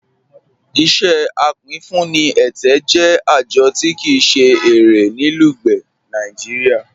Iṣẹ apínfúnì ẹtẹ jẹ ajọ̀ tí kíi se ẹ̀rẹ̀ ní Lugbe, Nàìjíríà.